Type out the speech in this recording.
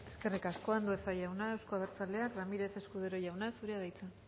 eskerrik asko andueza jauna euzko abertzaleak ramírez escudero jauna zurea da hitza